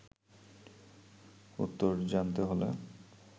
উত্তর জানতে হলে